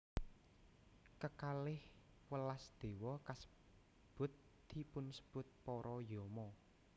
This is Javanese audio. Kekalih welas déwa kasebut dipunsebut para Yama